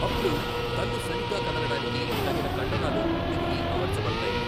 అప్పుడు కన్ను సరిగ్గా కదలడానికి తగిన కండరాలు తిరిగి అమర్చబడతాయి.